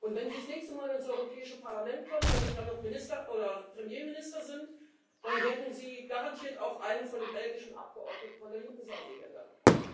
Wenn Sie das nächste Mal ins Europäische Parlament kommen, wenn Sie dann noch Minister oder Premierminister sind, dann werden Sie garantiert auch einen der belgischen Abgeordneten von der linken Seite hier hören.